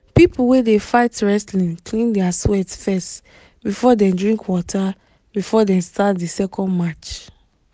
people wey dey fight wrestling clean their sweat fess before dem drink water before dem start the second match